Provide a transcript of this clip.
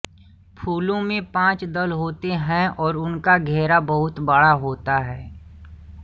फूलों में पाँच दल होते हैं और उनका घेरा बहुत बड़ा होता है